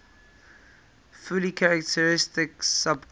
fully characteristic subgroup